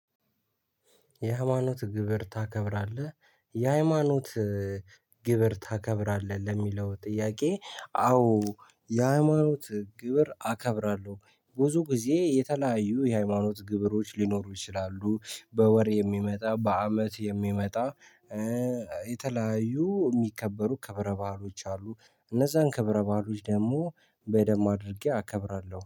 የሃይማኖት ግብር ታከብራለህ የሃይማኖት ግብር ታከብራለህ ለሚለው ጥያቄ? አዎ የሃይማኖት ግብር አከብራለሁ ብዙ ጊዜ የተለያዩ የሃይማኖት ግብሮች ሊኖሩ ይችላሉ። በወር የሚመጣ በአመት የሚመጣ። የተለያዩ የሚከበሩ ከብረ ባአሎች አሉ። እነዛን ከብረ ባአሎች ደግሞ በደምብ አድርጌ አከብራለሁ